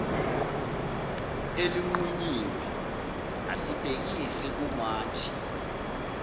elinqunyiwe asibhekise kumantshi